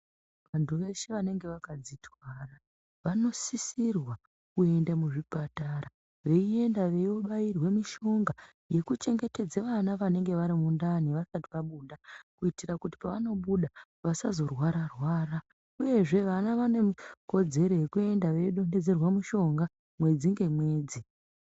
Vantu veshe vanenge vakadzitwara vanosisirwa kuenda muzvipatara veienda veiobairwe mishonga yekuchengetedza vana vanenge vari mundani vasati vabuda kuitira kuti pavanobuda vasazorwara-rwara uyezve vana vane kodzero yekuenda veiodonhedzerwa mishonga mwedzi ngemwedzi.